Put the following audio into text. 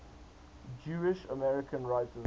jewish american writers